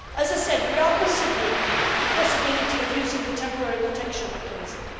people. As I said, we are considering the possibility of using the temporary protection